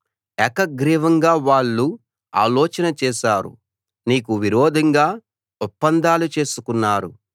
ఏకగ్రీవంగా వాళ్ళు ఆలోచన చేశారు నీకు విరోధంగా ఒప్పందాలు చేసుకున్నారు